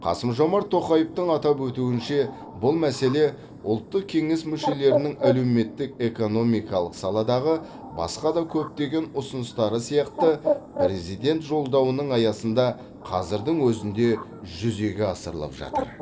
қасым жомарт тоқаевтың атап өтуінше бұл мәселе ұлттық кеңес мүшелерінің әлеуметтік экономикалық саладағы басқа да көптеген ұсыныстары сияқты президент жолдауының аясында қазірдің өзінде жүзеге асырылып жатыр